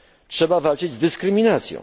Trzeba walczyć z dyskryminacją.